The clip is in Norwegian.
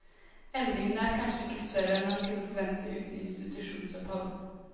Endringene er kanskje ikke større enn man kunne forvente uten institusjonsopphold.